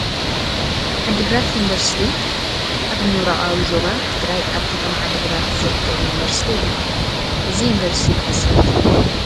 ዓዲ ግራት ዩኒቨርሲቲ ኣብ ኣብ ምብራቓዊ ዞባ ትግራይ ኣብ ከተማ ዓዲ ግራት ዝርከብ ዩኒቨርሲቲ እዩ፡፡ እዚ ዩኒፈርሲቲ መዓዝ ስራሕ ጀሚሩ?